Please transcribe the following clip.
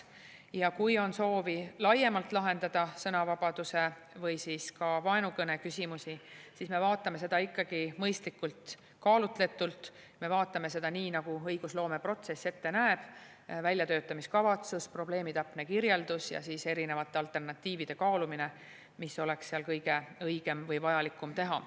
Ja kui on soovi laiemalt lahendada sõnavabaduse või siis ka vaenukõne küsimusi, siis me vaatame seda ikkagi mõistlikult ja kaalutletult, me vaatame seda nii, nagu õigusloomeprotsess ette näeb – väljatöötamiskavatsus, probleemi täpne kirjeldus ja siis erinevate alternatiivide kaalumine, mis oleks kõige õigem või vajalikum teha.